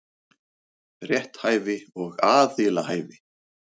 Rétthæfi og aðilahæfi.